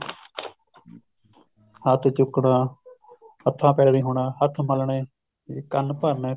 ਹੱਥ ਚੁੱਕਣਾ ਹੱਥਾ ਪੈਰਾਂ ਦੀ ਹੋਣਾ ਹੱਥ ਮੱਲਣੇ ਕੰਨ ਭਰਨੇ